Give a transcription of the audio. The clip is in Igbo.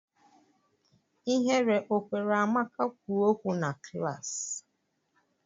Ihere ọ kwere Amaka kwuo okwu na klaasị?